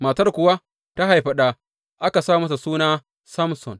Matar kuwa ta haifi ɗa, aka sa masa suna Samson.